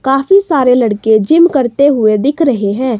काफी सारे लड़के जिम करते हुए दिख रहे हैं।